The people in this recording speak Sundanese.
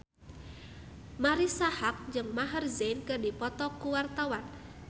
Marisa Haque jeung Maher Zein keur dipoto ku wartawan